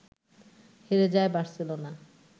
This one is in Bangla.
হেরে যায় বার্সেলোনা